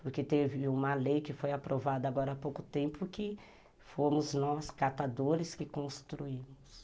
Porque teve uma lei que foi aprovada agora há pouco tempo que fomos nós, catadores, que construímos.